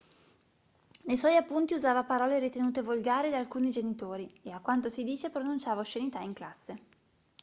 nei suoi appunti usava parole ritenute volgari da alcuni genitori e a quanto si dice pronunciava oscenità in classe